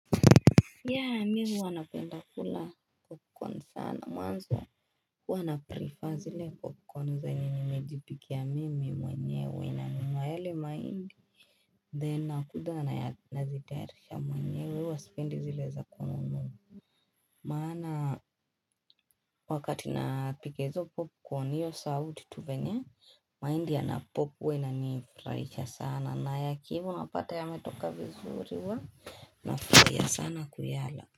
Yeah mimi huwa napenda kula popcorn sana mwanzo huwa naprefer zile popcorn zenye nimejipikia mimi mwenyewe nanunua yale mahindi then nakuja nazitayarisha mwenyewe huwa spendi zile za kununua maana wakati napika hizo popcorn hiyo sauti tu venye mahindi yanapop huwa inanifraisha sana na yakiiva unapata yametoka vizuri huwa nafraia sana kuyala.